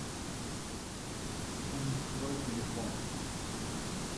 унистрой телефон